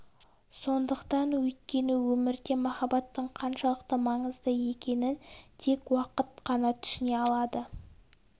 сондықтан өйткені өмірде махаббатың қаншалықты маңызды екенін тек уақыт қана түсіне алады